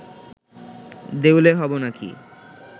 দেউলে হব নাকি